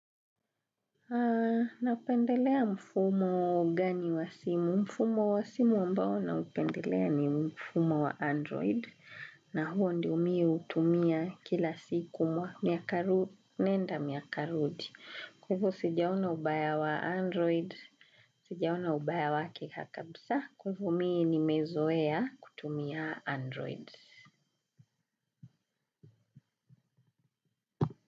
Na upendelea mfumo gani wa simu? Mfumo wa simu ambao na upendelea ni mfumo wa android. Na huo ndio mie utumia kila siku mwaka. Nenda miaka rudi. Kwa hivo sija ona ubaya wa android. Sijia ona ubaya wake akabisa. Kwa hivo mii nimezowea kutumia android.